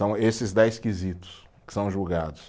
São esses dez quesitos que são julgados.